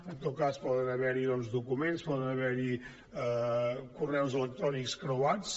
en tot cas poden haver hi documents poden haver hi correus electrònics creuats